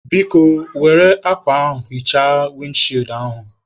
Biko, Were akwa hichaa windi chịịd ihu a